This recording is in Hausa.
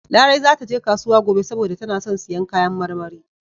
Larai za ta je kasuwa gobe saboda tana son siyan kayan marmari.